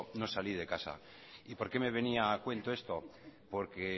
no salí de casa por qué me venía a cuento esto porque